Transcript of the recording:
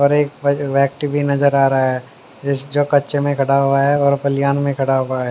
और एक व्यक्ति भी नजर आ रहा है जो कच्चे में खड़ा हुआ है और पलियान में खड़ा हुआ है।